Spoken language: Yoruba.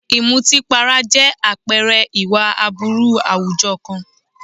Ìmùtípara jẹ́ àpẹẹrẹ ìwà aburú àwùjọ kan.